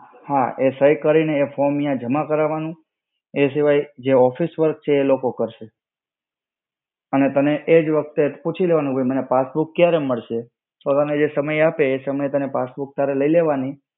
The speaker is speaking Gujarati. હા એ સહી કરીને એ form ન્યાં જમા કરાવવાનું. એ સિવાય જે office work છે એ એલોકો કરશે. અને તને એ જ વખતે પૂછી લેવાનું કે મને passbook ક્યારે મળશે? તને જે સમય આપે ત્યારે એ passbook તારે લઇ લેવાની.